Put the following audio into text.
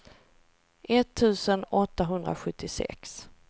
etttusen åttahundrasjuttiosex